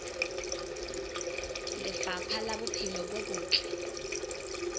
lefapha la bophelo bo botle